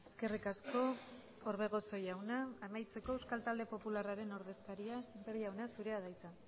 eskerrik asko orbegozo jauna amaitzeko euskal talde popularraren ordezkaria sémper jauna zurea da hitza